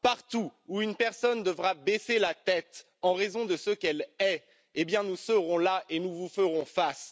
Partout où une personne devra baisser la tête en raison de ce qu'elle est, nous serons là et nous vous ferons face.